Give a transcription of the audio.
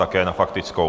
Také na faktickou.